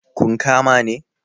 kun kama ne?